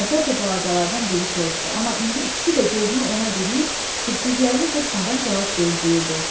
Əvvəlcə balacalardan biri soruşdu, amma indi ikisi də gözünü ona diriyib kirpiklərini qırpmadan cavab gözləyirdi.